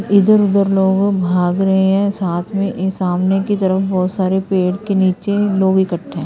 इधर उधर लोगों भाग रहे हैं साथ में ये सामने की तरफ बहोत सारे पेड़ के नीचे लोग इकट्ठे है।--